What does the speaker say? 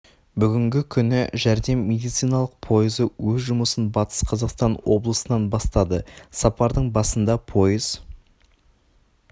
бүгінгі күні жәрдем медициналық пойызы өз жұмысын батыс қазақстан облысынан бастады сапардың басында пойыз